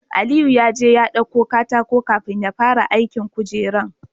Aliyu yaje ya ɗauko katako kafin yafara aikin kujerar